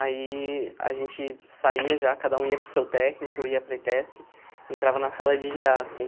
Aí a gente saía já, cada um ia para o seu técnico, eu ia para a ETESP, entrava na sala de gê á assim.